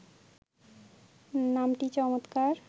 নামটি চমৎকার